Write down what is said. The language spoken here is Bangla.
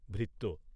ভৃত্য